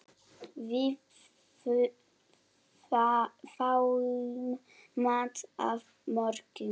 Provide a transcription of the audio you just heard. Við fáum mat að morgni.